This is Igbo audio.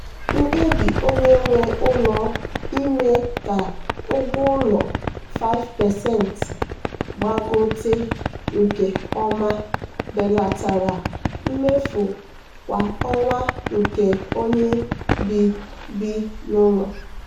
mkpebi onye nwe ụlọ ime ka ụgwọ ụlọ 5% gbagote nke ọma belatara mmefu kwa ọnwa nke onye bi bi n'ụlọ.